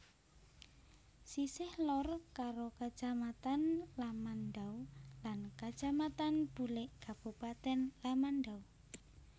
Sisih lor karo Kacamatan Lamandau lan Kacamatan Bulik Kabupatèn Lamandau